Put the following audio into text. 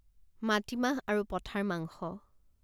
মাটিমাহ আৰু পঠাৰ মাংস